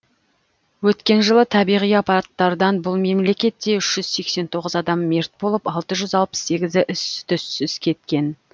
өткен жылы табиғи апаттардан бұл мемлекетте үш жүз сексен тоғыз адам мерт болып алты жүз алпыс сегізі із түзсіз кеткен